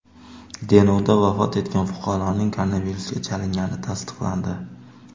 Denovda vafot etgan fuqaroning koronavirusga chalingani tasdiqlandi.